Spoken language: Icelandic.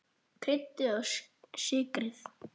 Kryddið og sykrið.